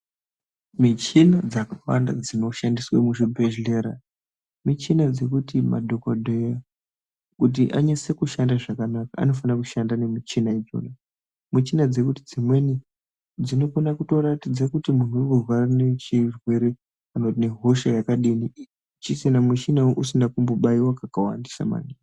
Michina dzakawanda dzinoshandiswe muzvibhehlera michina dzekuti madhokodheya kuti anyase kushanda zvakanaka, anofana kushandisa michina idzodzo. Muchina dzekuti dzimweni dzinokona kutoratidze kuti muntu anorwara nechirwere kana kuti nehosha yakadini muchina uyu usina kumbobaiwa kakawandisa maningi.